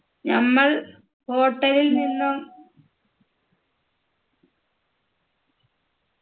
നമ്മൾ hotel ൽ നിന്നും